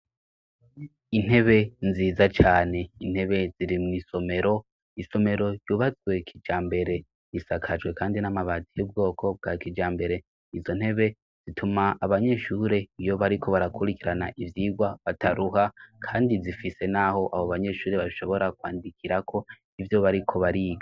Intebe nziza cane, intebe ziri mw'isomero, isomero ryubatswe kijambere risakajwe kandi n'amabati y'ubwoko bwa kijambere, izo ntebe zituma abanyeshure iyo bariko barakurikirana ivyigwa bataruha, kandi zifise n'aho abo banyeshure bashobora kwandikirako ivyo bariko bariga.